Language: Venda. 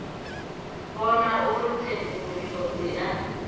vhona uri tsenguluso dzi a